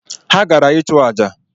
Ha gara ịchụ aja